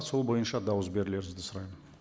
сол бойынша дауыс берулеріңізді сұраймын